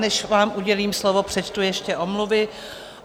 Než vám udělím slovo, přečtu ještě omluvy.